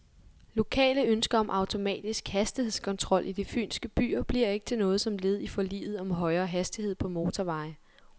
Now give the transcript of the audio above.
Lokale ønsker om automatisk hastighedskontrol i de fynske byer bliver ikke til noget som led i forliget om højere hastighed på motorveje.